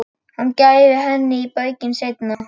Hann gæfi henni í baukinn seinna.